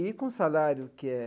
E com o salário que é...